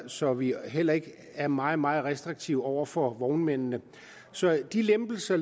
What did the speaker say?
så vi heller ikke er meget meget restriktive over for vognmændene så de lempelser